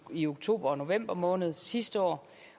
i oktober og november måned sidste år